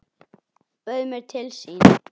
Bauð mér til sín.